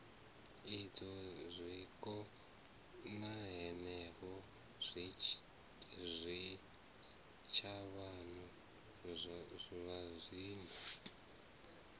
idzwo zwiko hanefho zwitshavhano zwazwino